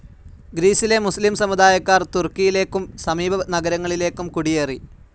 ഗ്രീസിലെ മുസ്ലീം സമുദായക്കാർ തുർക്കിയിലേക്കും സമീപ നഗരങ്ങളിലേക്കും കുടിയേറി.